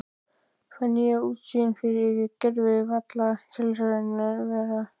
Fæ nýja útsýn yfir gervalla tilveruna.